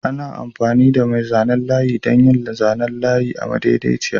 Ana amfani da mai zanen layi don yin layi madaidaiciya.